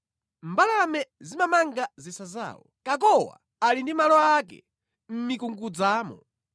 Mbalame zimamanga zisa zawo; kakowa ali ndi malo ake mʼmikungudzamo.